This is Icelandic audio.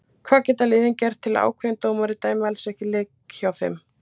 Hvað geta liðin gert til að ákveðin dómari dæmi alls ekki leiki hjá þeim?